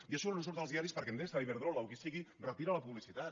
i això no surt als diaris perquè endesa iberdrola o qui sigui retira la publicitat